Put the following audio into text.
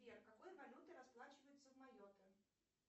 сбер какой валютой расплачиваются в майотте